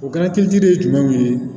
O kɛra kilitu de ye jumɛnw ye